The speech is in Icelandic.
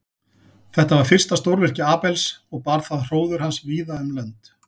Þetta var fyrsta stórvirki Abels og bar það hróður hans víða um lönd.